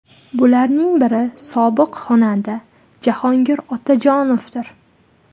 Bularning biri sobiq xonanda Jahongir Otajonovdir.